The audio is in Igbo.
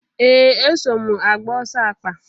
Ee! Eso m agba ọsọ akpa.